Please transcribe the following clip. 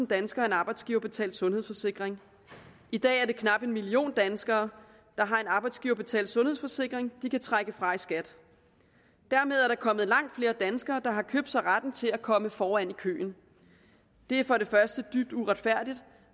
danskere en arbejdsgiverbetalt sundhedsforsikring i dag er det knap en million danskere der har en arbejdsgiverbetalt sundhedsforsikring de kan trække fra i skat dermed er der kommet langt flere danskere der har købt sig retten til at komme foran i køen det er for det første dybt uretfærdigt